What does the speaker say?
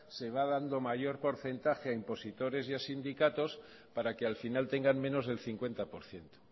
que va dando mayor porcentaje en positores y en sindicatos para que al final tengan menos del cincuenta por ciento